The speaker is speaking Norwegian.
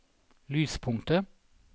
lyspunktet